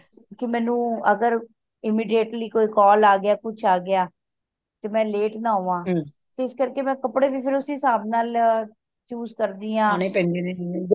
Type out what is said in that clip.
ਕਿ ਮੈਨੂੰ ਅਗਰ immediately ਕੋਇ call ਆ ਗਯਾ ਕੁਛ ਆ ਗਯਾ ਤੇ ਮੈਂ late ਨਾ ਹੋਵਾਂ ਤੇ ਇਸ ਕਰਕੇ ਮੈਂ ਕਪੜੇ ਵੀ ਫੇਰ ਓਸੇ ਹਿਸਬ ਨਾਲ choose ਕਰਦੀਆਂ